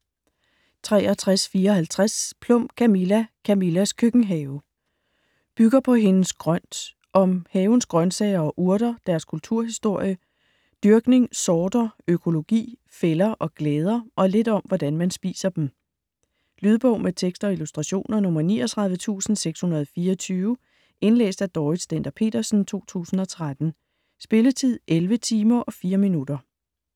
63.54 Plum, Camilla: Camillas køkkenhave Bygger på hendes Grønt. Om havens grønsager og urter, deres kulturhistorie, dyrkning, sorter, økologi, fælder og glæder og lidt om hvordan man spiser dem. Lydbog med tekst og illustrationer 39624 Indlæst af Dorrit Stender-Petersen, 2013. Spilletid: 11 timer, 4 minutter.